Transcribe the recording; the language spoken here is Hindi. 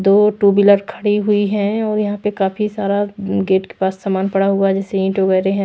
दो टू व्हीलर खड़ी हुई है और यहां पे काफी सारा गेट के पास सामान पड़ा हुआ है जैसे ईंट वगैरह है।